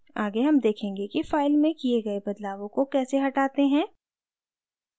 आगे हम देखेंगे कि फाइल में किये गए बदलावों को कैसे हटाते हैं